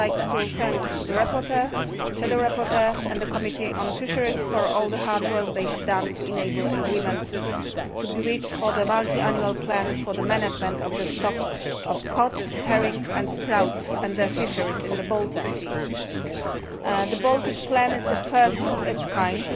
I would like to thank the rapporteur, shadow rapporteur and the Committee on Fisheries for all the hard work they have done to enable agreement to be reached for the multiannual plan for the management of the stock of cod, herring and sprout and fisheries in the Baltic Sea. The Baltic plan is the first of its kind